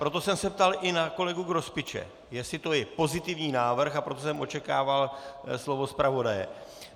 Proto jsem se ptal i na kolegu Grospiče, jestli to je pozitivní návrh, a proto jsem očekával slovo zpravodaje.